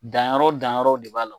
Danyɔrɔ danyɔrɔ de b'a la